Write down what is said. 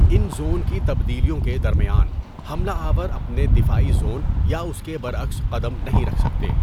ان zone کی تبدیلیوں کے درمیان، حملہ آور اپنے دفاعی زون یا اس کے برعکس قدم نہیں رکھ سکتے۔